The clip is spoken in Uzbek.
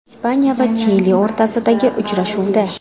Ispaniya va Chili o‘rtasidagi uchrashuvda.